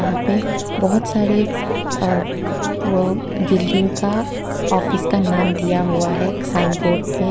यहां पे बहुत सारे अ व बिल्डिंग का ऑफिस का नाम दिया हुआ है एक साइन बोर्ड पे।